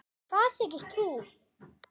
Hvað þykist þú.